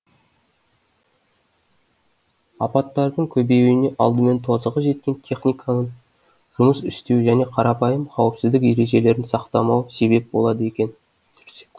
апаттардың көбеюіне алдымен тозығы жеткен техникам жұмыс істеу және қарапайым қауіпсіздік ережелерін сақтамау себеп болады екен